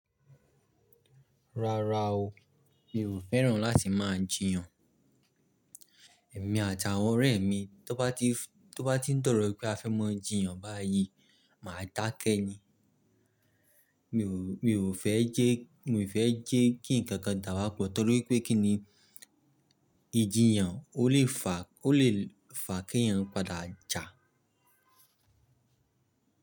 Rárá o, mi ò fẹ́ràn láti máa jìyàn. Èmi àti àwọn ọ̀rẹ́ mi tó bá ti, tó bá ti n dọ̀rọ̀ wípé a fẹ́ maa jìyàn báyìí máa dákẹ́ ni. Mi ò, mi ò fẹ́ jẹ́, mi ò fẹ́ jẹ́ kí ǹkankan dàwà pọ̀ torí pé kíni ìjìyàn ó lè fa, ó lè fa kí èèyàn padà jà.